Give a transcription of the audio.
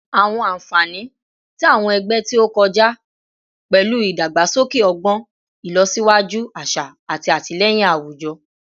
Awọn anfani ti awọn ẹgbẹ ti o kọja pẹlu idagbasoke ọgbọn, ilosiwaju aṣa, ati atilẹyin awujọ